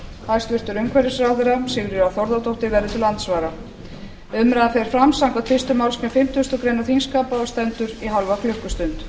hæstvirtur umhverfisráðherra sigríður a þórðardóttir verður til andsvara umræðan fer fram samkvæmt fyrstu málsgrein fimmtugustu grein þingskapa og stendur í hálfa klukkustund